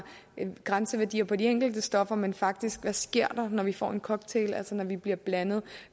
grænseværdier på de enkelte stoffer men faktisk der sker når vi får en cocktail altså når de bliver blandet